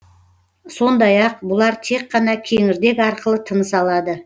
сондай ақ бұлар тек қана кеңірдек арқылы тыныс алады